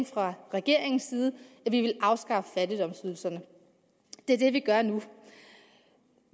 fra regeringens side at afskaffe fattigdomsydelserne det er det vi gør nu